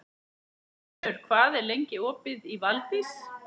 Unnur, hvað er lengi opið í Valdís?